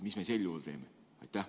Mis me sel juhul teeme?